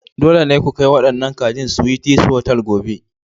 Dole ne ku kai waɗannan kajin Sweeties Hotels gobe!